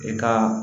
E ka